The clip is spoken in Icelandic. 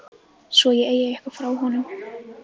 Svo ég eigi eitthvað frá honum.